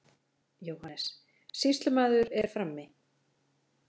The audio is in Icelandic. JÓHANNES: Sýslumaður er frammi.